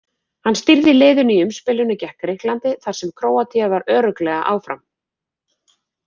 Hann stýrði liðinu í umspilinu gekk Grikklandi þar sem Króatía var örugglega áfram.